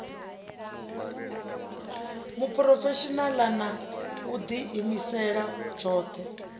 muphurofeshinala na u diimisela tshothe